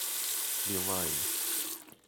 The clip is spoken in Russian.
билайн